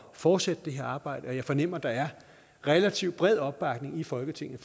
fortsætte det her arbejde jeg fornemmer at der er relativt bred opbakning i folketinget